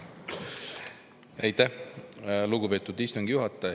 Aitäh, lugupeetud istungi juhataja!